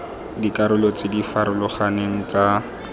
dikarolo tse di farologaneng tsa